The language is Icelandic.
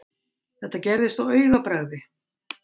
Þetta gerðist á augabragði.